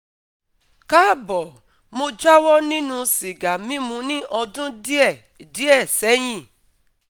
Káàbọ̀, mo jáwọ́ nínú sìgá mímu ní ọdún díẹ̀ díẹ̀ sẹ́yìn